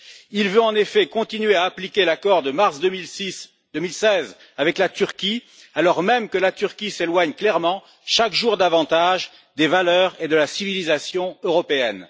Il veut en effet continuer à appliquer l'accord de mars 2016 avec la Turquie, alors même que la Turquie s'éloigne clairement chaque jour davantage des valeurs et de la civilisation européenne.